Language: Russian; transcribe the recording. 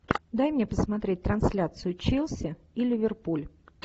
дай мне посмотреть трансляцию челси и ливерпуль